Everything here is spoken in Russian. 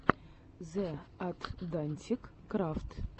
зе атдантик крафт